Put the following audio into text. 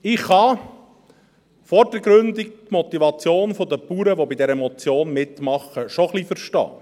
Ich kann vordergründig die Motivation der Bauern, die bei dieser Motion mitmachen, schon etwas verstehen.